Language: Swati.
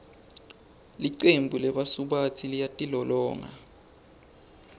licembu lebasubatsi liyatilolonga